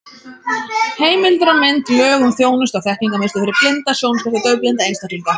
Heimildir og mynd: Lög um þjónustu- og þekkingarmiðstöð fyrir blinda, sjónskerta og daufblinda einstaklinga.